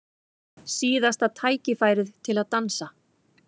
Síðasta tækifærið til að dansa